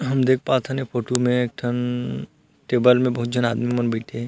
हम देख पात हन ए फोटू में एक ठन टेबल में बहुत झन आदमी मन बईथे हे।